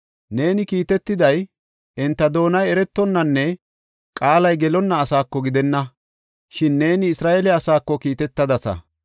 Neeni kiitetiday, enta doonay eretonnanne qaalay gelonna asaako gidenna; shin neeni Isra7eele asaako kiitetadasa.